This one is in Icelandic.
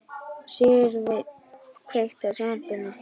Sigursveinn, kveiktu á sjónvarpinu.